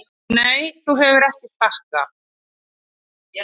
Nei þú hefur ekki sagt það.